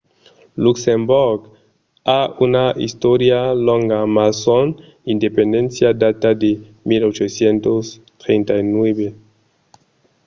luxemborg a una istòria longa mas son independéncia data de 1839